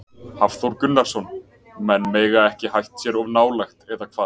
Hafþór Gunnarsson: Menn mega ekki hætt sér of nálægt, eða hvað?